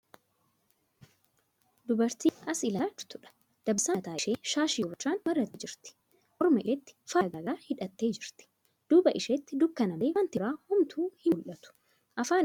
Dubartii as ilaalaa jirtuudha. Dabbasaa mataa ishee shaashii gurraachan marattee jirti. Morma isheetti faaya garagaraa hidhattee jirti. Duuba isheetti dukkana malee wanti biraa homtuu hin mul'atu. Afaan ishee cufattee kan jirtuudha.